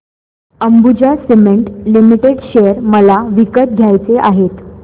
Ambuja cement limited share मला विकत घ्यायचे आहेत